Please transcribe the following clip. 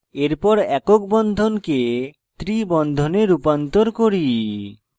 এরপর একক বন্ধনকে triple বন্ধনে রূপান্তর করি